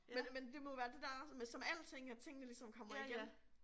Men men det må jo være det der med som alting at tingene ligesom kommer igen